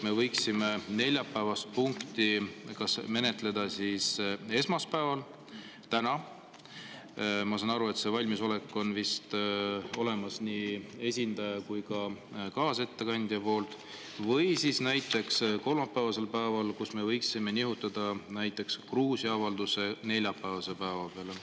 Me võiksime neljapäevast punkti menetleda esmaspäeval ehk täna – ma saan aru, et see valmisolek on olemas nii esindajal kui ka kaasettekandjal – või siis näiteks kolmapäevasel päeval, kust me võiksime nihutada Gruusia avalduse neljapäevase päeva peale.